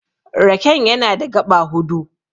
Raken yana da gaɓa hudu.